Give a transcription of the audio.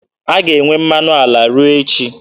A ga-enwe mmanụ ala ruo echi.